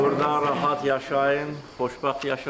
Burda rahat yaşayın, xoşbəxt yaşayın.